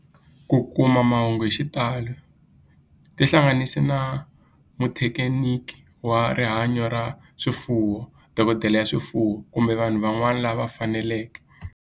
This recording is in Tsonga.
Ku kuma mahungu hi xitalo tihlanganisi na muthekiniki wa rihanyo ra swifuwo, dokodela ya swifuwo, kumbe vanhu van'wana lava fanelekeke